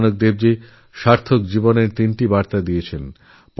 গুরু নানক সার্থকজীবনের তিনটি সাধনার কথা বলে গেছেন